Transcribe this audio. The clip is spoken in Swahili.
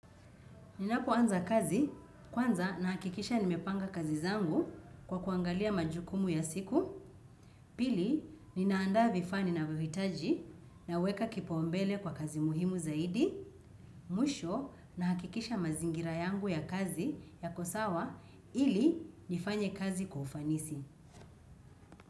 Ninapoanza kazi, kwanza nahakikisha nimepanga kazi zangu kwa kuangalia majukumu ya siku, pili ninaandaa vifaa ninavyohitaji naweka kipaumbele kwa kazi muhimu zaidi mwisho nahakikisha mazingira yangu ya kazi yako sawa ili nifanye kazi kwa ufanisi.